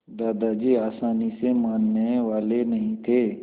दादाजी आसानी से मानने वाले नहीं थे